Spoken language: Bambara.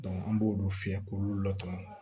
an b'olu fiyɛ k'olu latɔn